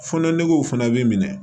Fɔnɔ negew fana bɛ minɛ